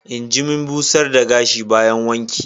injimin busar da gashi bayan wanki.